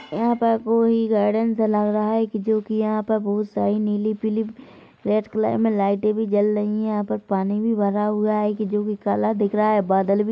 यहाँ पर कोई गार्डन सा लग रहा है जो की यहाँ पर बहुत सारी नीली-पीली रेड कलर में लाइटे भी जल रही है यहाँ पर पानी भी भरा हुआ है की जो भी कलर दिख रहा है बादल भी--